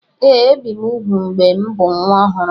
Ee, ebi m úgwù mgbe m bụ nwa ọhụrụ.